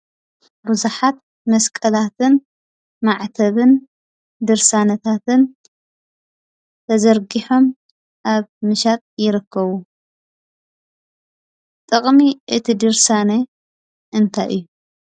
ብዙሓት መስቀላትን፣ መዓተብን፣ ድርሳነታትን ተዘርጊሖም ኣብ ምሻጥ ይርከቡ። ጥቕሚ እቲ ድርሳነ እንታይ እዩ?